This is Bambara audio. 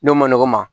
N'o ma nɔgɔn ma